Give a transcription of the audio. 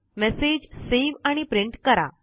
message save आणि print करा